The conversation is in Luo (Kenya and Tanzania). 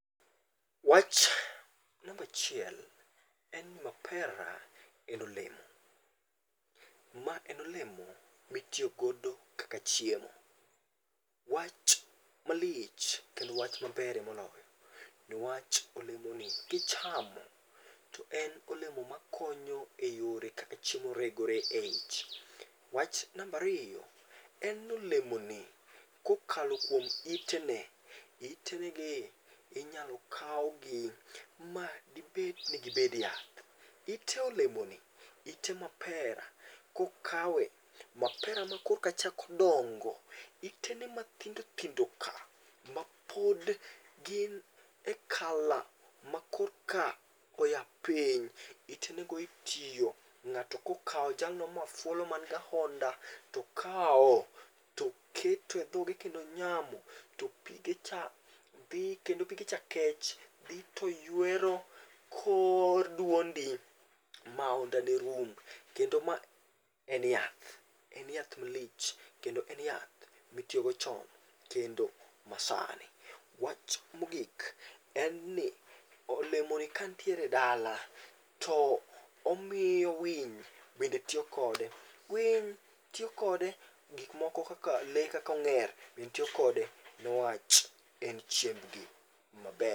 Wach nambachiel en ni mapera en olemo. Ma en olemo mitiyogodo kaka chiemo. Wach malich kendo wach mabere moloyo, niwach olemoni kichamo to en olemo ma konyo e yore kaka chiemo regore e ich. Wach nambariyo en nolemoni kokalo kuom itene, itenegi inyalo kawgi ma dibed ni gibed yath. Ite olemoni ite mapera kokawe, mapera ma korka chako dongo, itene mathindo thindo ka ma pod gin e kala makorka oya piny. Itenego itiyo, ng'ato kokawo jalno mafuolo man ga honda, to kawo toketo e dhoge kendo onyamo. To pige cha dhi kendo pige cha kech, dhi to ywero kor dwondi, maondani rum. Kendo ma en yath, en yath malich kendo en yath mitiyogo chon kendo masani. Wach mogik en ni olemoni kantiere dala to omiyo winy bende tiyo kode. Winy tiyokode, gikmoko kaka le kakong'er ben tiyo kode, newach en chiembgi maber.